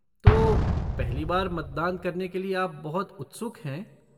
तो, पहली बार मतदान करने के लिए आप बहुत उत्सुक हैं?